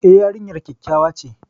E, yarinyar kyakkyawa ce.